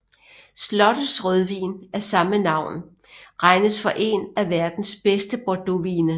Slottets rødvin af samme navn regnes for en af verdens bedste bordeauxvine